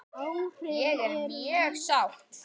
Ég er mjög sátt.